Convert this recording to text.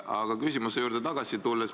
Aga tulen küsimuse juurde tagasi.